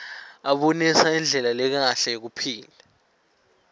abonisa indlela lekahle yekuphila